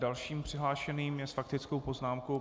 Dalším přihlášeným je s faktickou poznámkou...